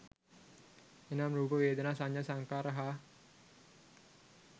එනම්, රූප, වේදනා, සඤ්ඤා, සංඛාර හා